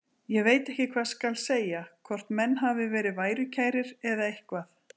Ég veit ekki hvað skal segja, hvort menn hafi verið værukærir eða eitthvað.